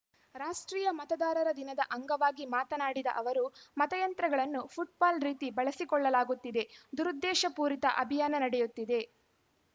ರಾಷ್ಟ್ರೀಯ ಮತದಾರರ ದಿನದ ಅಂಗವಾಗಿ ಮಾತನಾಡಿದ ಅವರು ಮತಯಂತ್ರಗಳನ್ನು ಫುಟ್‌ಬಾಲ್‌ ರೀತಿ ಬಳಸಿಕೊಳ್ಳಲಾಗುತ್ತಿದೆ ದುರುದ್ದೇಶಪೂರಿತ ಅಭಿಯಾನ ನಡೆಯುತ್ತಿದೆ